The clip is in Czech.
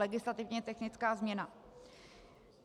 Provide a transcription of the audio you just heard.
Legislativně technická změna.